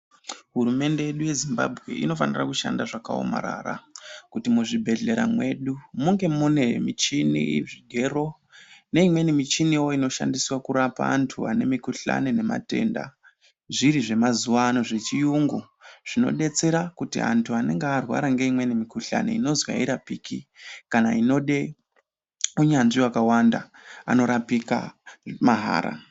Hurumende yedu yeZimbabwe inofanira kushanda zvakawomarara kuti muzvibhedlera mwedu munge mune michini, zvigero neimweni michiniwo inoshandiswa kurapa antu vane mikuhlane nematenda. Zviri zvemazuva ano, zvechiyungu. Zvinodetsera kuti antu anenge arwara ngeimweni mikuhlane inozwi hairapiki, kana inode hunyanzvi hwakawanda, anorapika mahara.